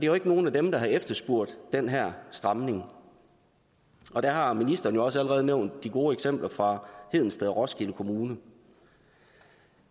jo ikke nogen af dem der har efterspurgt den her stramning og der har ministeren også allerede nævnt de gode eksempler fra hedensted og roskilde kommuner